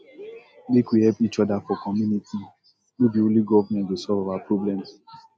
make we help each other for community no be only government go solve our problems